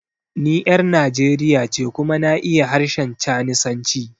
Ni 'yar Nijeriya ce kuma na iya harshen Chanisanci.